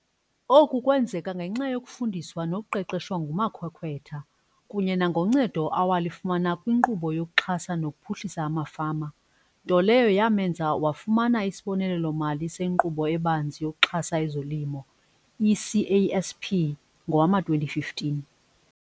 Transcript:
Oku kwenzeka ngenxa yokufundiswa nokuqeqeshwa ngumakhwekhwetha kunye nangoncedo awalifumana kwiNkqubo yokuXhasa nokuPhuhlisa amaFama, into leyo yamenza wafumana isibonelelo-mali seNkqubo eBanzi yokuXhasa ezoLimo, i-CASP, ngowama-2015.